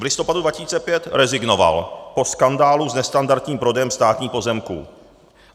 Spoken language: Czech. V listopadu 2005 rezignoval po skandálu s nestandardním prodejem státních pozemků.